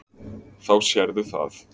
Þá sérðu það.